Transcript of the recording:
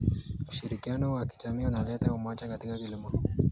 Ushirikiano wa kijamii unaleta umoja katika kilimo.